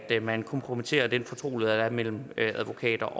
at man kompromitterer den fortrolighed der er mellem advokater